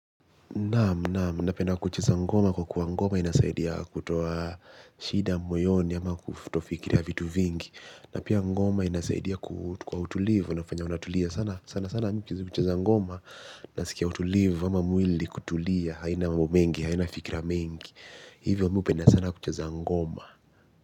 Nam, nam. Napenda kucheza ngoma kwa kuwa ngoma inasaidia kutoa shida moyoni ama kufitofikiria vitu vingi. Napia ngoma inasaidia kwa utulivu. Unafanya unatulia sana sana sana mi kucheza ngoma. Nasikia utulivu ama mwili kutulia. Haina mambo mengi, haina fikira mengi. Hivyo mi upenda sana kucheza ngoma.